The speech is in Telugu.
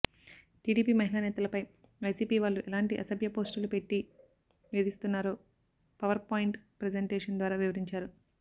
టీడీపీ మహిళ నేతలపై వైసీపీ వాళ్లు ఎలాంటి అసభ్య పోస్టులు పెట్టి వేధిస్తున్నారో పవర్ పాయింట్ ప్రజెంటేషన్ ద్వారా వివరించారు